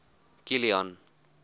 kilian